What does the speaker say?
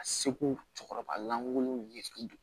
A seko cɛkɔrɔba lankolonw ɲɛ